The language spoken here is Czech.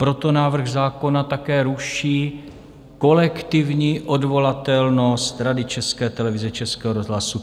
Proto návrh zákona také ruší kolektivní odvolatelnost Rady České televize, Českého rozhlasu.